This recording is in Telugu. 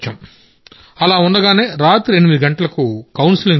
అలా ఉండగానే రాత్రి 8 గంటలకు కౌన్సెలింగ్ జరిగింది